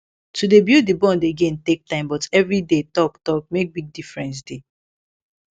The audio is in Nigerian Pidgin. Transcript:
to dey build the bond again take time but everyday talk talk make big difference dey